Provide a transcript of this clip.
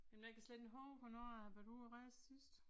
Men jeg kan slet ikke huske hvornår jeg har været ude og rejse sidst